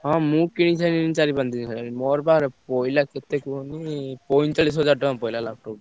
ହଁ ମୁଁ କିଣିସାଇଲିଣି ଚାରି ପାଞ୍ଚ ଦିନି ହେଲାଣି, ମୋର ବା ପଇଲା କେତେ କୁହନି ପଇଁଚାଳିଶି ହଜାର ଟଙ୍କା ପଇଲା laptop ।